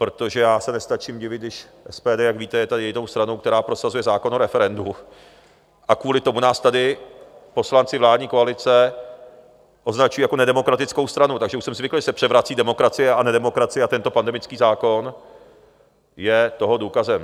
Protože já se nestačím divit, když SPD, jak víte, je tady jedinou stranou, která prosazuje zákon o referendu, a kvůli tomu nás tady poslanci vládní koalice označují jako nedemokratickou stranu, takže už jsem zvyklý, že se převrací demokracie a nedemokracie, a tento pandemický zákon je toho důkazem.